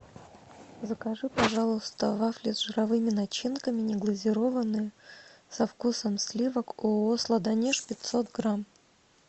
закажи пожалуйста вафли с жировыми начинками неглазированные со вкусом сливок ооо сладонеж пятьсот грамм